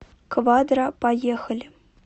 квадра поехали